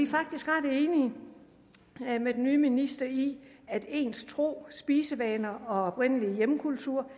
faktisk ret enige med den nye minister i at ens tro spisevaner og oprindelige kultur